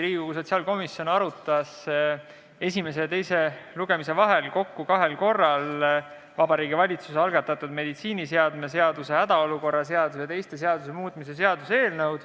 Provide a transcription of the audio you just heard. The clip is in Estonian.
Riigikogu sotsiaalkomisjon arutas esimese ja teise lugemise vahepeal kokku kahel korral Vabariigi Valitsuse algatatud meditsiiniseadme seaduse, hädaolukorra seaduse ja teiste seaduste muutmise seaduse eelnõu.